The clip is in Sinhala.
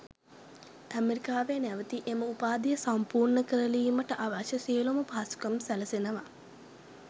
ඇමරිකාවේ නැවතී එම උපාධිය සම්පූර්ණ කරලීමට අවශ්‍ය සියළුම පහසුකම් සැලසෙනවා.